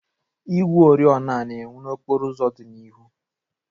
Igwe oriọna na-enwu n'okporo ụzọ dị n'ihu.